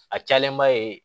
A cayalenba ye